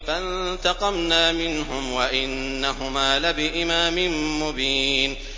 فَانتَقَمْنَا مِنْهُمْ وَإِنَّهُمَا لَبِإِمَامٍ مُّبِينٍ